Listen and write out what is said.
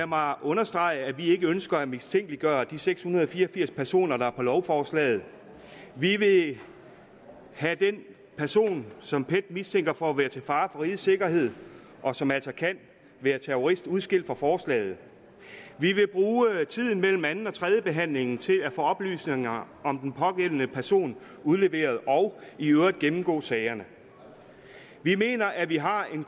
mig understrege at vi ikke ønsker at mistænkeliggøre de seks hundrede og fire og firs personer der er på lovforslaget vi vil have den person som pet mistænker for at være til fare for rigets sikkerhed og som altså kan være terrorist udskilt fra forslaget vi vil bruge tiden mellem anden og tredjebehandlingen til at få oplysninger om den pågældende person udleveret og i øvrigt gennemgå sagerne vi mener at vi har en